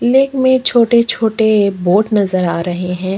Lake में छोटे-छोटे boat नज़र आ रहे हैं।